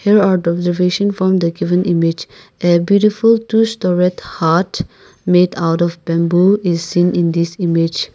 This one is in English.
here our observation from the given image a beautiful two storeyed hut meet out of bamboo is seen in this image.